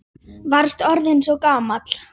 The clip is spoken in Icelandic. Varst orðinn svo gamall.